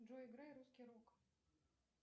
джой играй русский рок